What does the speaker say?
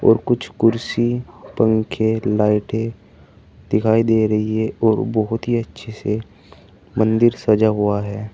और कुछ कुर्सी पंखे लाइटें दिखाई दे रही हैं और बहुत ही अच्छे से मंदिर सजा हुआ है।